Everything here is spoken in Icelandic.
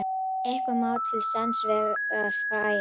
Eitthvað má til sanns vegar færa